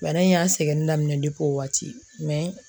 Bana in y'an sɛgɛnni daminɛ o waati